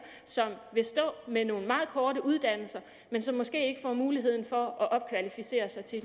som vil stå med nogle meget korte uddannelser og som måske ikke får mulighed for at opkvalificere sig til